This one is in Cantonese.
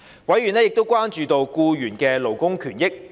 委員亦關注僱員的勞工權益。